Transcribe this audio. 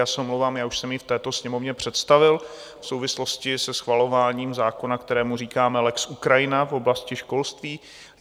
Já se omlouvám, já už jsem ji v této Sněmovně představil v souvislosti se schvalováním zákona, kterému říkáme lex Ukrajina v oblasti školství.